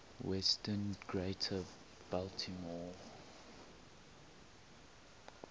western greater baltimore